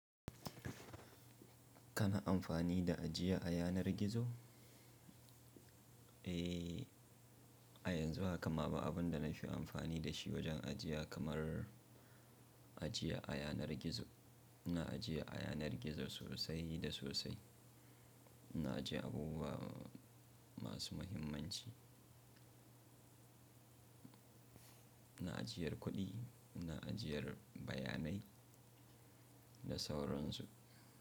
Kana amfani da ajiya a yanar gizo? Eh, a yanzu haka ma ba abin da nafi amfani da shi wajen ajiya kamar ajiya a yanar gizo. Ina ajiya a yanar gizo sosai da sosai. Ina ajiye abubuwa masu muhimmanci. Ina ajiyar kuɗi, ina ajiyar bayanai da sauransu.